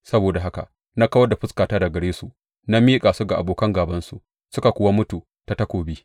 Saboda haka na kawar da fuskata daga gare su na miƙa su ga abokan gābansu, suka kuwa mutu ta takobi.